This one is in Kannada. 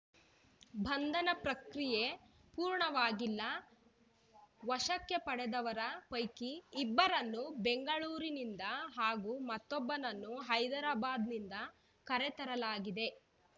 ಬಂಧನ ಪ್ರಕ್ರಿಯೆ ಪೂರ್ಣವಾಗಿಲ್ಲ ವಶಕ್ಕೆ ಪಡೆದವರ ಪೈಕಿ ಇಬ್ಬರನ್ನು ಬೆಂಗಳೂರಿನಿಂದ ಹಾಗೂ ಮತ್ತೊಬ್ಬನನ್ನು ಹೈದ್ರಾಬಾದ್‌ನಿಂದ ಕರೆತರಲಾಗಿದೆ